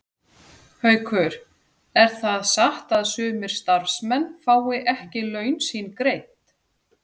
Haukur: Er það satt að sumir starfsmenn fái ekki laun sín greidd?